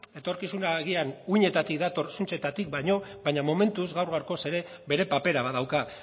etorkizuna agian uhinetatik dator zuntzetatik baino baina momentuz gaur gaurkoz ere bere papera badauka